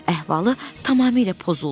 Əhvalı tamamilə pozuldu.